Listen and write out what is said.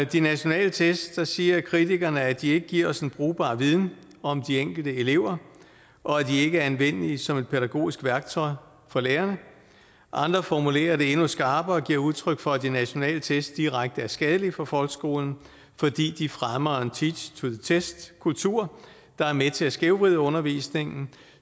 de nationale test siger kritikerne at de ikke giver os en brugbar viden om de enkelte elever og at de ikke er anvendelige som et pædagogisk værktøj for lærerne andre formulerer det endnu skarpere og giver udtryk for at de nationale test er direkte skadelige for folkeskolen fordi de fremmer en teach to the test kultur der er med til at skævvride undervisningen